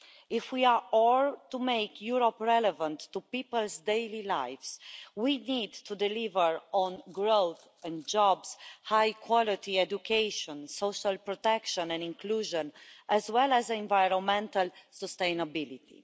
If we are all to make Europe relevant to people's daily lives, we need to deliver on growth and jobs, high quality education, social protection and inclusion, as well as environmental sustainability.